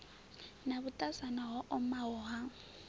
na vhuṱasana ho omaho ha